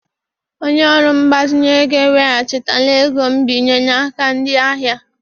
Onye ọrụ mgbazinye ego eweghachitala ego nbinye n'aka ndị ahịa.